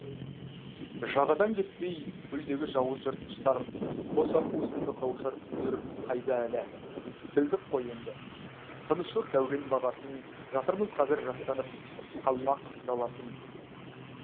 жағадан кетпей көлдегі жауыз жыртқыштар қос аққу сынды қауышар күндер қайда әлі білдік қой енді тыныштық дәурен бағасын жатырмыз қазір жастанып қалмақ даласын